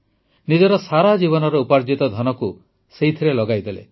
ନିଜର ସାରା ଜୀବନର ଉପାର୍ଜିତ ଧନକୁ ସେଥିରେ ଲଗାଇଦେଲେ